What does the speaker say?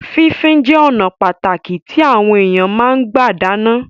Fífín jẹ ọnà pàtàkì tí àwọn èèyàn fi máa ń gbà dáná